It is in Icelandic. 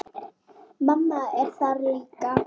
Mamma er þar líka.